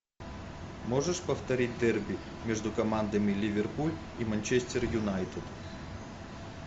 можешь повторить дерби между командами ливерпуль и манчестер юнайтед